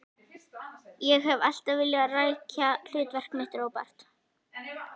Ég hef alltaf vilja rækja hlutverk mitt, Róbert.